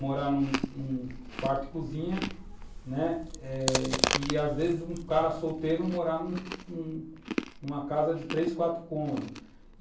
morar num quarto-cozinha né? e, às vezes, um cara solteiro morar numa casa de três, quatro cômodos.